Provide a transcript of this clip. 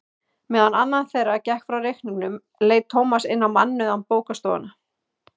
Meðan annar þeirra gekk frá reikningnum leit Tómas inn í mannauða bókastofuna.